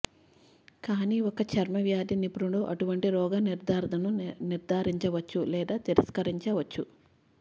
కానీ ఒక చర్మవ్యాధి నిపుణుడు అటువంటి రోగ నిర్ధారణను నిర్దారించవచ్చు లేదా తిరస్కరించవచ్చు